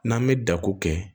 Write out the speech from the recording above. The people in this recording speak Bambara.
N'an bɛ dako kɛ